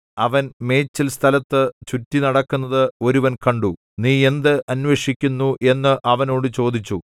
അവൻ മേച്ചിൽസ്ഥലത്തു ചുറ്റി നടക്കുന്നത് ഒരുവൻ കണ്ടു നീ എന്ത് അന്വേഷിക്കുന്നു എന്ന് അവനോട് ചോദിച്ചു